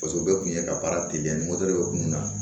Paseke o bɛɛ kun ye ka baara teliya ni depere kun na